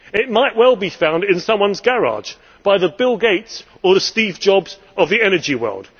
It might well be found in someone's garage by the Bill Gates or the Steve Jobs of the energy world.